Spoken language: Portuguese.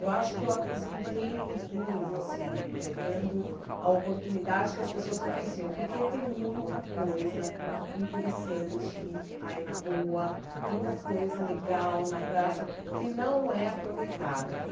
Eu acho que eu acrescentei muito assim, eh dando a oportunidade que as pessoas não conheciam, porque tem muita coisa interessante aí na rua, muita coisa legal na praça que não é aproveitada.